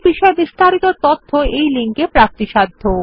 এই বিষয়ে বিস্তারিত তথ্য এই লিঙ্কে প্রাপ্তিসাধ্য